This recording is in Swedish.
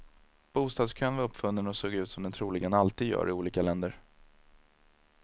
Bostadskön var uppfunnen och såg ut som den troligen alltid gör i olika länder.